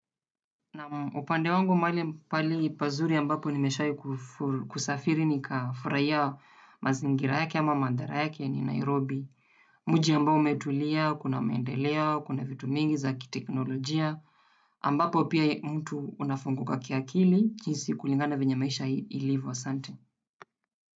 Naam upande wangu mahali pahali pazuri ambapo nimeshawahi kusafiri nikafurahi mazingira yake ama mandhari ni Nairobi. Mji ambao umetulia, kuna maendeleo, kuna vitu mingi za kiteknolojia. Ambapo pia mtu unafunguka kiakili jinsi kulingana venye maisha ilivyo asante.